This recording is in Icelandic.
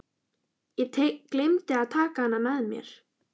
Ég gleymdi að taka hana með mér.